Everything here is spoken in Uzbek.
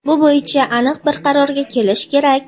Bu bo‘yicha aniq bir qarorga kelish kerak.